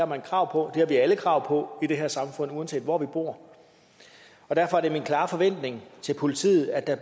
man krav på det har vi alle krav på i det her samfund uanset hvor vi bor derfor er det min klare forventning til politiet at